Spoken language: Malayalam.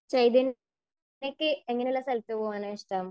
ചൈതന്യക്ക് എങ്ങനെയുള്ള സ്ഥലത്ത് പോകാനാ ഇഷ്ടം?